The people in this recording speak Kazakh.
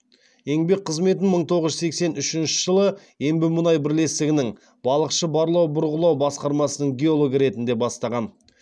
еңбек қызметін мың тоғыз жүз сексен үшінші жылы ембімұнай бірлестігінің балықшы барлау бұрғылау басқармасының геологы ретінде бастаған